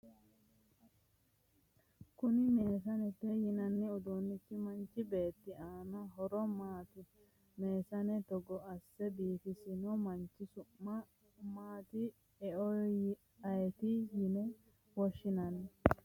konni meesanete yinanni uduunnichi manchi beettira aanna horo maati? meesane togo asse biifisanno manchi su'ma maati eoy ayeeti yine woshshinanni?